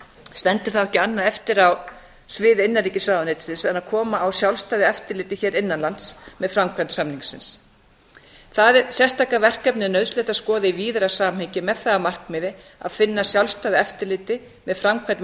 stendur þá ekki annað eftir á sviði innanríkisráðuneytisins en koma á sjálfstæðu eftirliti hér innan lands með framkvæmd samningsins það sérstaka verkefni er nauðsynlegt að skoða í víðara samhengi með það að markmiði að finna sjálfstæðu eftirliti með framkvæmd